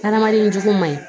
Taramali in jogo ma ɲi